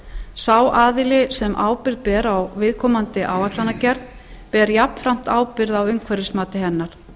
sá aðili sem ábyrgð ber á viðkomandi áætlunargerð ber jafnframt ábyrgð á umhverfismati hennar